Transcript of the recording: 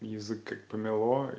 язык как помело